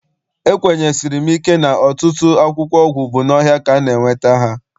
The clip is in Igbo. Ekwenyesiri m ike na ọtụtụ akwụkwọ ọgwụ bụ n'ọhịa ka a na- enweta ha.